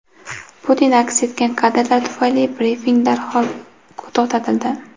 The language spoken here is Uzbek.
Putin aks etgan kadrlar tufayli brifing darhol to‘xtatildi.